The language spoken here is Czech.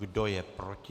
Kdo je proti?